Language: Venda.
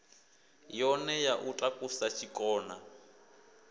yone ya u takusa tshikona